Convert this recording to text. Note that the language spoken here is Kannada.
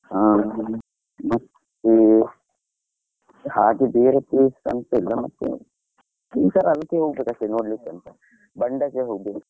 ಹ ಮತ್ತೆ, ಹಾಗೆ ಬೇರೆ places ಬಂಡಾಜೆ ಹೋಗ್ಬೋದು.